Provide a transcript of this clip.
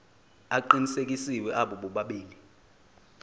aqinisekisiwe abo bobabili